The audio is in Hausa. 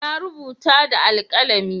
Na rubuta da alkalami.